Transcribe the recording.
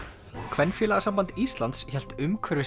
Kvenfélagasamband Íslands hélt